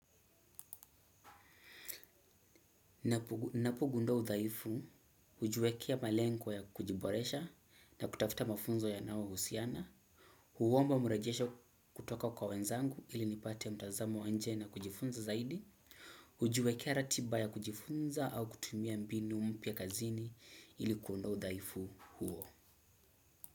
Napo gundua udhaifu, hujiwekea malengo ya kujiboresha na kutafuta mafunzo yanao husiana, huomba mrejesho kutoka kwa wenzangu ili nipate mtazamo wa nje na kujifunza zaidi, hujiwekea ratiba ya kujifunza au kutumia mbinu mpya kazini ili kuondoa udhaifu huo.